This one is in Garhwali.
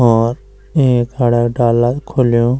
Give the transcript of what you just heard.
और एक डाला खुल्यूं--